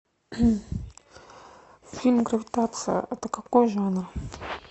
фильм гравитация это какой жанр